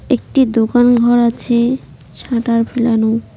একটি দোকানঘর আছে শাটার ফেলানো।